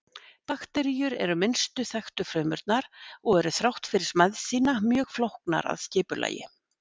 Bakteríur eru minnstu þekktu frumurnar og eru þrátt fyrir smæð sína mjög flóknar að skipulagi.